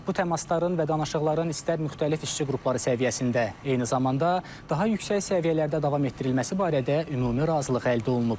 Bu təmasların və danışıqların istər müxtəlif işçi qrupları səviyyəsində, eyni zamanda daha yüksək səviyyələrdə davam etdirilməsi barədə ümumi razılıq əldə olunub.